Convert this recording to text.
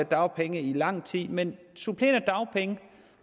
dagpenge i lang tid men supplerende dagpenge